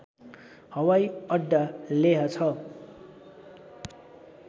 हवाईअड्डा लेह छ